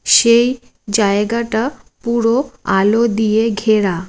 সে-ই জায়গাটা পুরো আলো দিয়ে ঘেরা।